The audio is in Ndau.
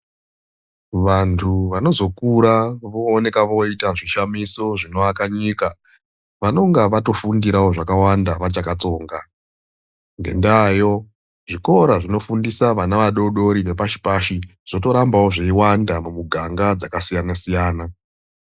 Vandu vanozokura vooneka voita zvishamiso zvinoaka nyika vanonga vatofundirao zvakawanda vachakatsonga, ngendayo zvikora zvibofundisa vana vadodori vepashi pashi zvotorambao zveyiwanda mumuganga dzakasiyana siyana.